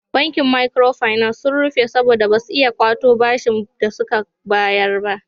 Bankin makiro finas ya rufe saboda ba su iya kwato bashin da suka bayar ba.